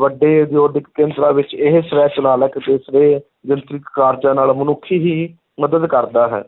ਵੱਡੇ ਉਦਯੋਗਿਕ ਕੇਂਦਰਾਂ ਵਿੱਚ ਇਹ ਸਵੈੈ ਚਾਲਕ ਅਤੇ ਸਵੈ ਕਾਰਜਾਂ ਨਾਲ ਮਨੁੱਖ ਹੀ ਮਦਦ ਕਰਦਾ ਹੈ